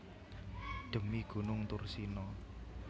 Dhemi gunung Thursina